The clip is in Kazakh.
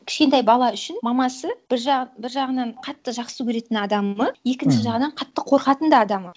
кішкентай бала үшін мамасы бір жағынан қатты жақсы көретін адамы екінші жағынан қатты қорқатын да адамы